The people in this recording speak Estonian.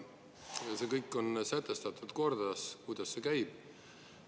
Ja see kõik on sätestatud korras, kuidas see käib.